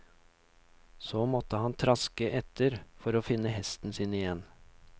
Så måtte han traske etter for å finne hesten sin igjen.